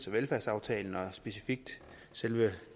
velfærdsaftalen og specifikt selve